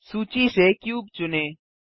सूची से क्यूब चुनें